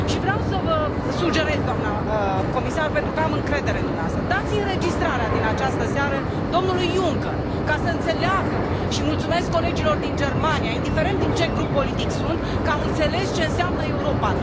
Vreau să vă sugerez, doamnă comisar, pentru că am încredere în dumneavoastră, să dați înregistrarea din această seară domnului Juncker, ca să înțeleagă și le mulțumesc colegilor din Germania, indiferent din ce grup politic sunt, că au înțeles ce înseamnă Europa.